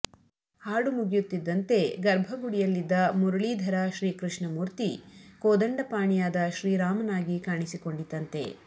ಹಾಡು ಮುಗಿಯುತ್ತಿದ್ದಂತೆ ಗರ್ಭಗುಡಿಯಲ್ಲಿದ್ದ ಮುರಳೀಧರ ಶ್ರೀಕೃಷ್ಣ ಮೂರ್ತಿ ಕೋದಂಡಪಾಣಿಯಾದ ಶ್ರೀರಾಮನಾಗಿ ಕಾಣಿಸಿಕೊಂಡಿತಂತೆ